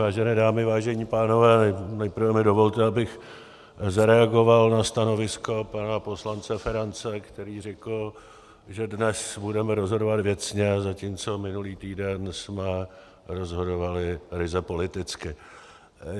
Vážené dámy, vážení pánové, nejprve mi dovolte, abych zareagoval na stanovisko pana poslance Ferance, který řekl, že dnes budeme rozhodovat věcně, zatímco minulý týden jsme rozhodovali ryze politicky.